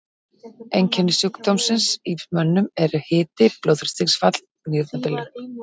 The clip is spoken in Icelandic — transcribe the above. Einkenni sjúkdómsins í mönnum eru hiti, blóðþrýstingsfall, nýrnabilun.